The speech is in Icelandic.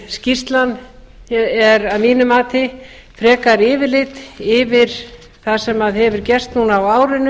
skýrslan er að mínu mati frekar yfirlit yfir það sem hefur gerst núna á árinu